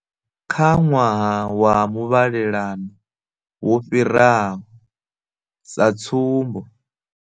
Kha ṅwaha wa muvhalelano wo fhiraho, sa tsumbo.